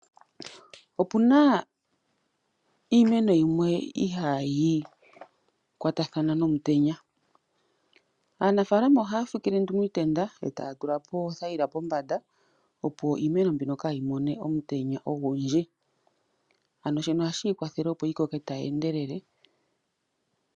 Opuna iimeno yimwe mbyono ihayi kwatathana nomutenya, aanafalama ohaa fikile iitenda pombanda taatula po oothayila opo iimeno mbino kaayimone omutenya ogundji naashino oha shiikwathele yimene tayeendelele.